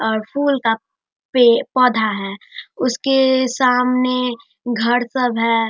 और फुल का पे पौधा है उसके सामने घर सब है।